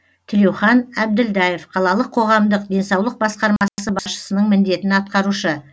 тілеухан әбділдаев қалалық қоғамдық денсаулық басқармасы басшысының міндетін атқарушы